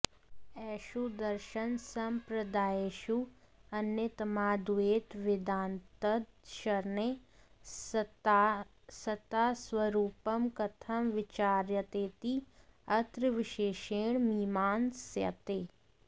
एषु दर्शनसम्प्रदायेषु अन्यतमाद्वैतवेदान्तदर्शने सत्तास्वरूपंकथं विचार्येतेति अत्र विशेषेण मीमांस्यते